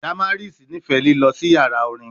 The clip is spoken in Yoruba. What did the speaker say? Damaris nifẹ lilọ si yara orin